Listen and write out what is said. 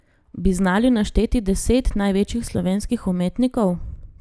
Bi znali našteti deset največjih slovenskih umetnikov?